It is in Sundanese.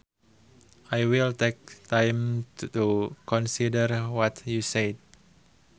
I will take time to consider what you said